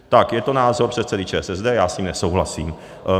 Tak, je to názor předsedy ČSSD, já s ním nesouhlasím.